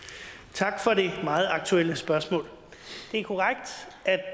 tak for det meget aktuelle spørgsmål